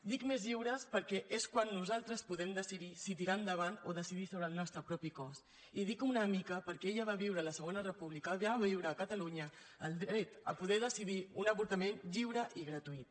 dic més lliures perquè és quan nosaltres podem decidir si tirar endavant o decidir sobre el nostre propi cos i dic una mica perquè ella va viure la segona república va viure a catalunya el dret a poder decidir un avortament lliure i gratuït